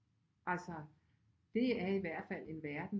Altså det er i hvert fald en verden